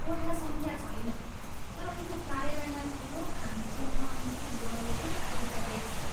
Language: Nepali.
कोठा सङ्ख्या छैन, तर उनको कार्यालयमा ठुलो खान चिह्न अङ्कित गरिएको एउटा डेस्क छ।